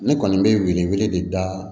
Ne kɔni bɛ wele wele de da